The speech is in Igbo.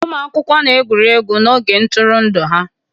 Ụmụ akwụkwọ na-egwuri egwu n'oge ntụrụndụ ha